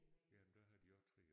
Ja men der har de også 3